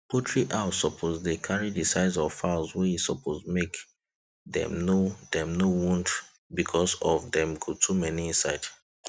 poultry house suppose carry the size of the fowls wey e suppose make dem no dem no wound because of dem go too many inside